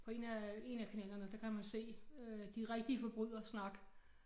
Og 1 af 1 af kanalerne der kan man se øh de rigtige forbrydere snakke